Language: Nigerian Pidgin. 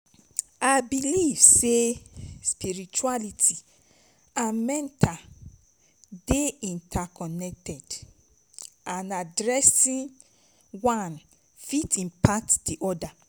i believe say spirituality and mental dey interconnected and addressing wan fit impact oda.